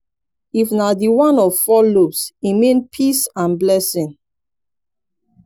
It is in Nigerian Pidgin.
if na di one of four lobes e mean peace and blessing